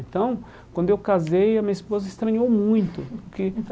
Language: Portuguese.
Então, quando eu casei, a minha esposa estranhou muito porque.